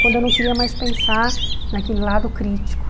Quando eu não queria mais pensar naquele lado crítico.